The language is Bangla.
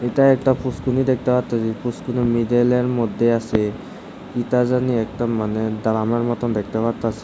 এটা একটা পুষ্করিণী দেখতে পারতাসি পুষ্করিণীর মিডিলের মধ্যে আসে কী তা জানি একতা মানে দারামার মত দেখতে পারতাসি।